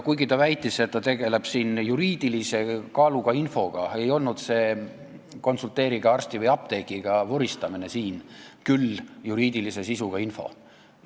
Kuigi ta väitis, et ta tegeleb siin juriidilise kaaluga infoga, ei olnud see konsulteerige-arsti-või-apteekriga-tüüpi vuristamine küll juriidilise sisuga info.